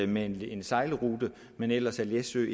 med en sejlrute men ellers er læsø